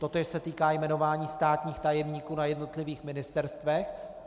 Totéž se týká jmenování státních tajemníků na jednotlivých ministerstvech.